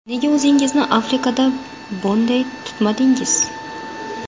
Nega o‘zingizni Afrikada bunday tutmadingiz?!